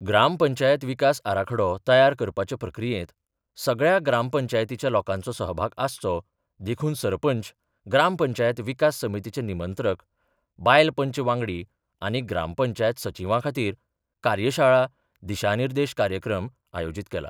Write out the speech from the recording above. ग्रामपंचायत विकास आराखडो तयार करपाच्या प्रक्रियेत सगळया ग्रामपंचायतीच्या लोकांचो सहभाग आसचो देखून सरपंच, ग्रामपंचायत विकास समितीचे निमंत्रक, बायल पंच वांगडी आनी ग्रामपंचायत सचिवां खातीर कार्यशाळा, दिशानिर्देश कार्यक्रम आयोजित केला.